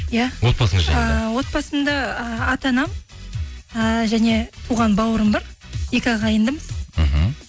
иә отбасыңыз жайында ыыы отбасымда і ата анам ыыы және туған бауырым бар екі ағайындымыз мхм